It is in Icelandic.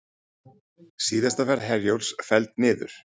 Síðasta ferð Herjólfs felld niður